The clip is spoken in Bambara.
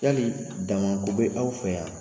Yali dama ko bɛ aw fɛ yan?